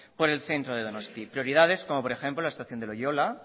por el centro de donosti prioridades como por ejemplo la estación de loiola